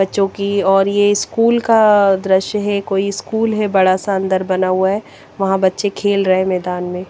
बच्चो की और ये स्कूल का द्रश्य हे कोई स्कूल हे बड़ा सा अन्दर बना हुआ हें वह बच्चे खेल रहे मैदान में --